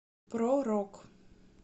про рок